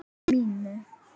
um mínum.